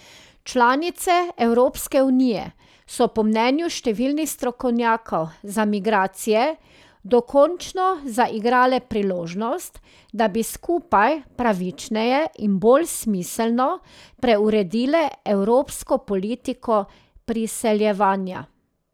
Članice Evropske unije so po mnenju številnih strokovnjakov za migracije dokončno zaigrale priložnost, da bi skupaj, pravičneje in bolj smiselno preuredile evropsko politiko priseljevanja.